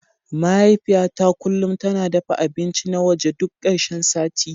Mahaifiyata kullum tana dafa abinci na waje duk karshen sati.